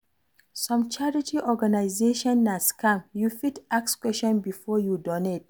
Some charity organization na scam, you fit ask questions before you donate